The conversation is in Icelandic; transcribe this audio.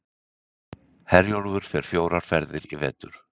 Herjólfur fer fjórar ferðir í vetur